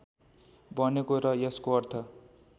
बनेको र यसको अर्थ